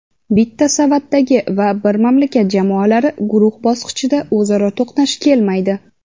bitta savatdagi va bir mamlakat jamoalari guruh bosqichida o‘zaro to‘qnash kelmaydi.